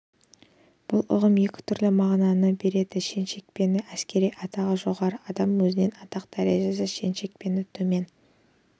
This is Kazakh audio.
бұл ұғым екі түрлі мағынаны білдіреді шен-шекпені әскери атағы жоғары адам өзінен атақ дәрежесі шен-шекпені төмен